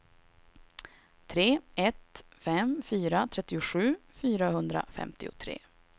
tre ett fem fyra trettiosju fyrahundrafemtiotre